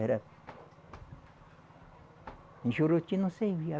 Era em Juruti não servia.